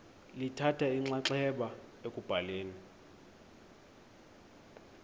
lithatha inxaxheba ekubhaleni